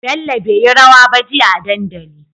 Bello beyi rawa ba jia a dandali